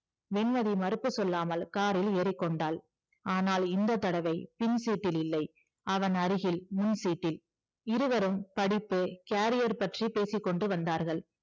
வெண்மதி மறுப்பு சொல்லாமல் காரில் ஏறிக்கொண்டாள் ஆனால் இந்த தடவை பின் seat இல் இல்லை அவன் அருகில் முன் seat டில் இருவரும் படிப்பு career பற்றி பேசிக்கொண்டு வந்தார்கள்